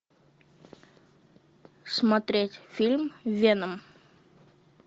смотреть фильм веном